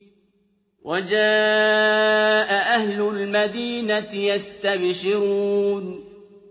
وَجَاءَ أَهْلُ الْمَدِينَةِ يَسْتَبْشِرُونَ